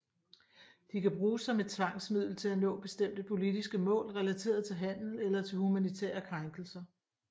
De kan bruges som et tvangsmiddel til at nå bestemte politiske mål relateret til handel eller til humanitære krænkelser